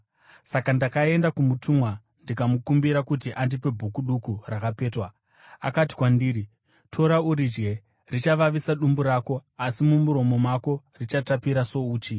Saka ndakaenda kumutumwa ndikamukumbira kuti andipe bhuku duku rakapetwa. Akati kwandiri, “Tora uridye. Richavavisa dumbu rako, asi mumuromo mako richatapira souchi.”